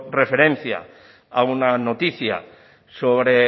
referencia a una noticia sobre